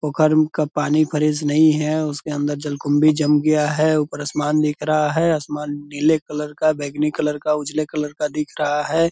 का पानी फ्रेश नहीं है उसके अंदर जलकुंभी जम गया है ऊपर आसमान दिख रहा है आसमान नीले कलर का बैगनी कलर का उजले कलर का दिख रहा है ।